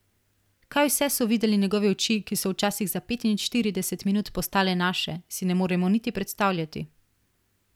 Kaj vse so videle njegove oči, ki so včasih za petinštirideset minut postale naše, si ne moremo niti predstavljati!